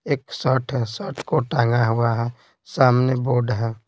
एक शर्ट है शर्ट को टांगा हुआ है सामने बोर्ड है।